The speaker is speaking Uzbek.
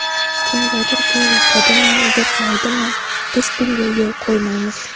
Kimgadir bu yoqadimi, yoqmaydimi, biz bunga yo‘l qo‘ymaymiz.